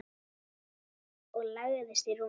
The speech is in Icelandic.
Og lagðist í rúmið.